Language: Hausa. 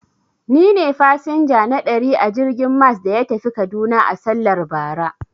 Ni ne fasinja na ɗari a jirgin mas da ya tafi kaduna a sallar bara.